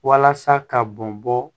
Walasa ka bɔn bɔ